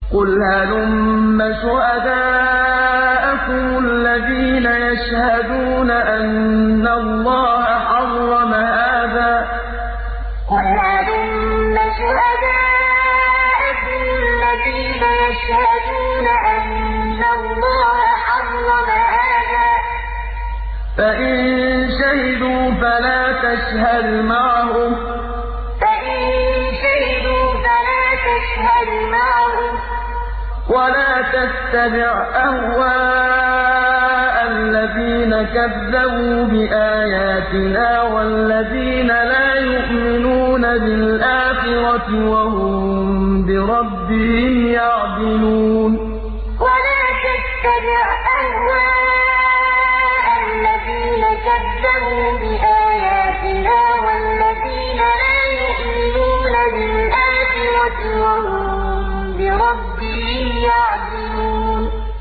قُلْ هَلُمَّ شُهَدَاءَكُمُ الَّذِينَ يَشْهَدُونَ أَنَّ اللَّهَ حَرَّمَ هَٰذَا ۖ فَإِن شَهِدُوا فَلَا تَشْهَدْ مَعَهُمْ ۚ وَلَا تَتَّبِعْ أَهْوَاءَ الَّذِينَ كَذَّبُوا بِآيَاتِنَا وَالَّذِينَ لَا يُؤْمِنُونَ بِالْآخِرَةِ وَهُم بِرَبِّهِمْ يَعْدِلُونَ قُلْ هَلُمَّ شُهَدَاءَكُمُ الَّذِينَ يَشْهَدُونَ أَنَّ اللَّهَ حَرَّمَ هَٰذَا ۖ فَإِن شَهِدُوا فَلَا تَشْهَدْ مَعَهُمْ ۚ وَلَا تَتَّبِعْ أَهْوَاءَ الَّذِينَ كَذَّبُوا بِآيَاتِنَا وَالَّذِينَ لَا يُؤْمِنُونَ بِالْآخِرَةِ وَهُم بِرَبِّهِمْ يَعْدِلُونَ